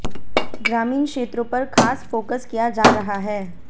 ग्रामीण क्षेत्रों पर खास फोकस किया जा रहा है